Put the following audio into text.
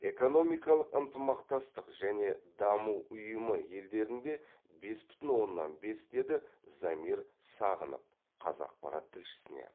экономикалық ынтымақтастық және даму ұйымы елдерінде бес бүтін оннан бес деді замир сағынов қазақпарат тілшісіне